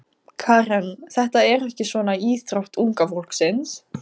Karen: Þetta er ekki svona íþrótt unga fólksins?